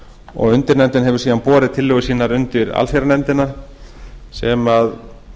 og undirnefndin hefur síðan borið tillögur sínar undir allsherjarnefndina sem